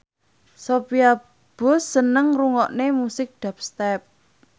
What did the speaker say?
Sophia Bush seneng ngrungokne musik dubstep